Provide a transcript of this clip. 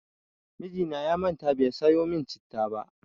Mijina ya manta bai sayo min citta ba.